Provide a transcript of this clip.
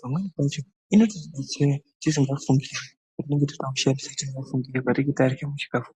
Pamweni pacho inotobetsera tisingafungiri apo patinenge tarya sechikafu.